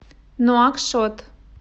нуакшот